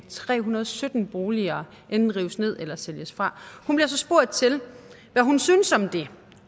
tre hundrede og sytten boliger enten rives ned eller sælges fra hun bliver så spurgt til hvad hun synes om det